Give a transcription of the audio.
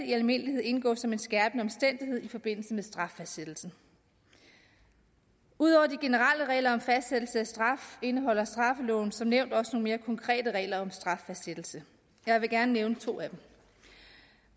i almindelighed indgå som en skærpende omstændighed i forbindelse med straffastsættelsen ud over de generelle regler om fastsættelse af straf indeholder straffeloven som nævnt også nogle mere konkrete regler om straffastsættelse jeg vil gerne nævne to af dem